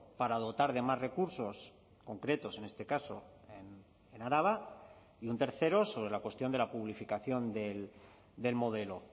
para dotar de más recursos concretos en este caso en araba y un tercero sobre la cuestión de la publificación del modelo